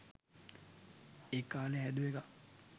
ඒකාලේ හැදුව එකක්.